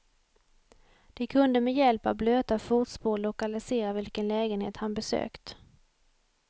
De kunde med hjälp av blöta fotspår lokalisera vilken lägenhet han besökt.